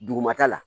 Dugumata la